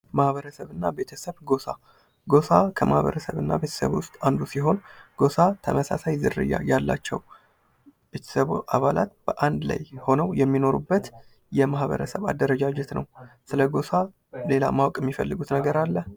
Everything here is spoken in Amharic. ማህበረሰብ እና ቤተሰብ ፦ ጎሳ ፦ ጎሳ ከማህበረሰብ እና ቤተሰብ ውስጥ አንዱ ሲሆን ጎሳ ተመሳሳይ ዝርያ ያላቸው ቤተሰብ አባላት በአንድ ላይ ሆነው የሚኖሩበት የማህበረሰብ አደረጃጀት ነው ። ስለጎሳ ሌላ ማወቅ የሚፈልጉት ነገር አለ ?